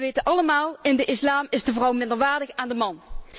En we weten allemaal in de Islam is de vrouw minderwaardig aan de man.